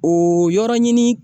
O yɔrɔ ɲini